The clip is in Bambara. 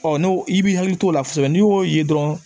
Ɔ n'o i b'i hakili t'o la kosɛbɛ n'i y'o ye dɔrɔn